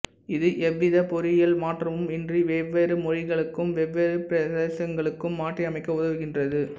இது எவ்வித பொறியியல் மாற்றமும் இன்றி வெவ்வேறு மொழிகளுக்கும் வெவ்வேறு பிரதேசங்களுக்கும் மாற்றி அமைக்க உதவுகின்றது